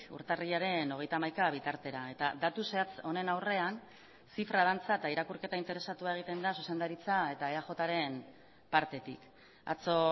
urtarrilaren hogeita hamaika bitartera eta datu zehatz honen aurrean zifra dantza eta irakurketa interesatua egiten da zuzendaritza eta eaj ren partetik atzo